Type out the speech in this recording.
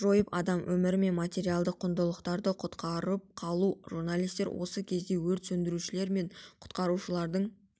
жойып адам өмірі мен материалдық құндылықтарды құтқарып қалу журналистер осы кезде өрт сөндірушілер мен құтқарушылардың